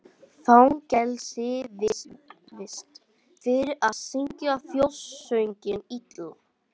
Fangelsisvist fyrir að syngja þjóðsönginn illa